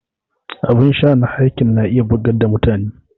Abin sha na heineken na iya bugar da mutane